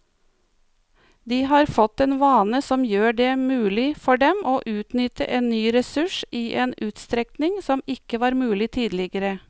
De har fått en vane som gjør det mulig for dem å utnytte en ny ressurs i en utstrekning som ikke var mulig tidligere.